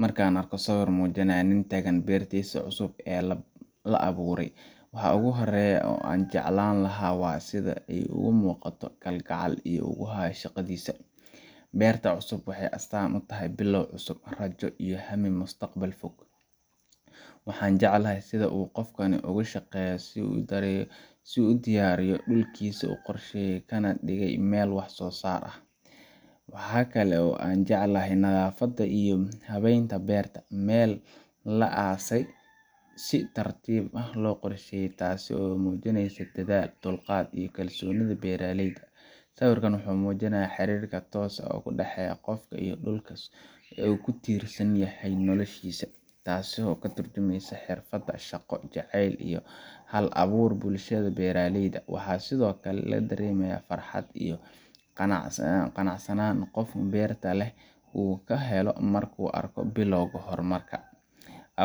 Marka aan arko sawir muujinaya nin taagan beertiisa cusub ee la abuuray, waxa ugu horreeya ee aan jeclaan lahaa waa sida uu uga muuqdo kalgacalka uu u hayo shaqadiisa. Beerta cusub waxay astaan u tahay bilow cusub, rajo iyo hammi mustaqbalka fog ah. Waxaan jeclahay sida uu qofkani uga shaqeeyay inuu diyaariyo dhulkiisa, u qorsheeyay, kana dhigay meel wax soo saar leh. Waxa kale oo aan jeclahay nadaafadda iyo habeynta beerta meel la aasay, si tartiib ah loo qorsheeyay, taas oo muujinaysa dadaal, dulqaad, iyo kalsoonida beeraleyda. Sawirkan wuxuu muujinayaa xiriirka tooska ah ee u dhexeeya qofka iyo dhulka uu ku tiirsan yahay noloshiisa, taas oo ka tarjumaysa xirfadda, shaqo jaceylka iyo hal-abuurka bulshada beeraleyda ah. Waxaa sidoo kale la dareemayaa farxad iyo qanacsanaan qofka beerta leh uu ka helo markuu arko bilowga horumar